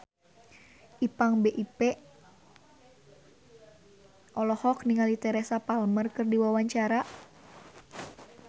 Ipank BIP olohok ningali Teresa Palmer keur diwawancara